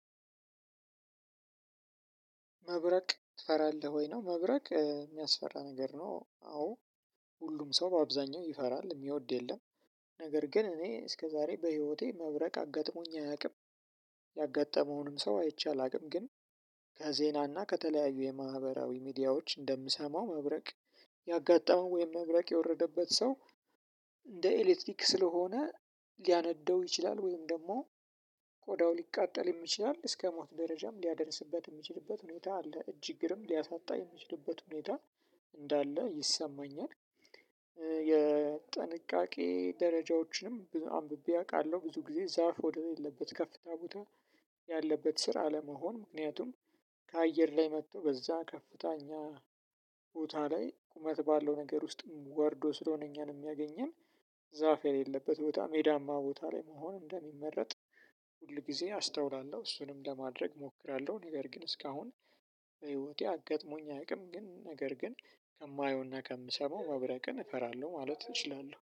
መብረቅ ትፈራለህ ወይ ነው መብረቅ የሚያስፈራ ነገር ነው? አዎ ሁሉም ሰው በአብዛኛው ይፈራል የሚወድ የለም። ነገር ግን እኔ እስከዛሬ በህይወቴ መብረቅ አጋጥሞኝ አያውቅም። ያጋጠመውንም ሰው አይቼ አላውቅም። ግን ከዜናና ከተለያዩ የማህበራዊ ሚዲያዎች እንደምሰማው መብረቅ ያጋጠመው ወይም መብረቅ የወረደበት ሰው። እንደ ኤሌክትሪክ ስለሆነ ሊያነደው ይችላል ወይም ደግሞ ቆዳው ሊቃጠልም ይችላል እስከ ሞት ደረጃም ሊያደርስበት የሚችልበት ሁኔታ አለ። እጅ እግርም ሊያሳጣ የሚችልበት ሁኔታ እንዳለ ይሰማኛል። የጥንቃቄ ደረጃዎችንም አንብቤ አውቃለሁ ብዙ ጊዜ ዛፍ ወደሌለበት ከፍታ ቦታ ያለበት ስር አለመሆን ምክንያቱም። ከአየር ላይ መጥቶ በዛ ከፍተኛ ቦታ ላይ ቁመት ባለው ነገር ውስጥ ጓርዶ ስለሆነ እኛን የሚያገኘን። ዛፍ የሌለበት ቦታ ሜዳማ ቦታ ላይ መሆን እንደሚመረጥ ሁል ጊዜ አስተውላለሁ እሱንም ለማድረግ እሞክራለሁ። ነገር ግን እስካሁን በህይወቴ አጋጥሞኝ አያውቅም። ግን ነገር ግን ከማየውና ከምሰማው መብረቅን እፈራለሁ ማለት እችላለሁ